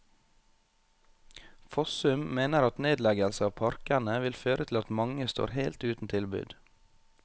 Fossum mener at nedleggelse av parkene vil føre til at mange står helt uten tilbud.